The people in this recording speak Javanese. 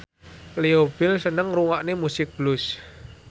Leo Bill seneng ngrungokne musik blues